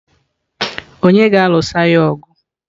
Ònye ga-alụso ya ọgụ?